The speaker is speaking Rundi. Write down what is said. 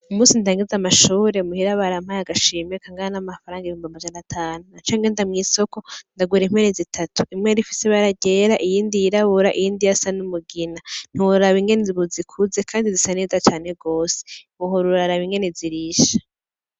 Umusi ndangeze amashobure y muhira baramaye agashimiya kangana n'amafaranga ibumba amajanatanu na canke nda mw'isoko ndagura impere zitatu imwe arifise bararyera iyindi yirabura iiyindi yasa n'umugina ntibororaba ingene zibuzikuze, kandi zisaneza cane rose uhoruraraba ingene zirisha.